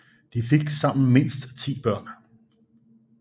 De fik sammen mindst ti børn